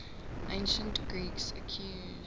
ancient greeks accused